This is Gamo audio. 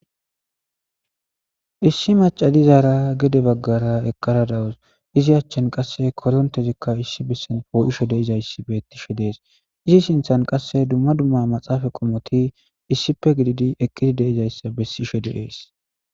Issi macadizaara gede baggara eqqara dawus izi achchan qasse korontezikka issi bessen poo'isho deizayssi bettisho dees izi sinthan qasse dumma dumma maxaafa qomoti issipe gididi ekkidi deizayssa bessisho de'ees.